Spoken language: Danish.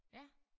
Ja